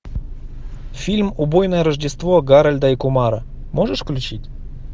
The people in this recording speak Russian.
фильм убойное рождество гарольда и кумара можешь включить